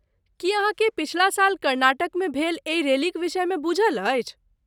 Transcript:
की अहाँकेँ पछिला साल कर्नाटकमे भेल एहि रैलीक विषयमे बूझल अछि?